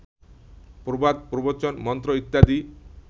প্রবাদ, প্রবচন, মন্ত্র ইত্যাদি